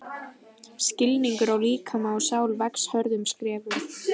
Skilningur á líkama og sál vex hröðum skrefum.